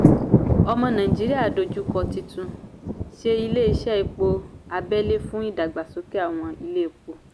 omo naijiria dojú kọ títún ṣe ilé iṣẹ́ epo abẹ́lé fún ìdàgbàsókè àwọn ilé epo.